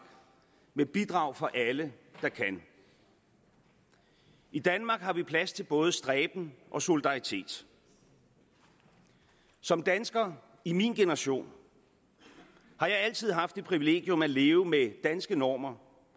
med bidrag fra alle der kan i danmark har vi plads til både stræben og solidaritet som dansker i min generation har jeg altid haft det privilegium at leve med danske normer